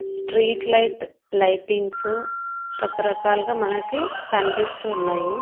Street light lightings రకరకాలుగా మనకి కనిపిస్తూ ఉన్నాయి.